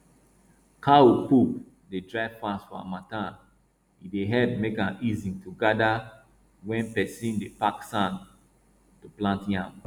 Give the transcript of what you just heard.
cow poo dey dry fast for harmattan e dey help make am easy to gather when person dey pack sand to plant yam